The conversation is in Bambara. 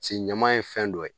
Se ɲaman ye fɛn dɔ ye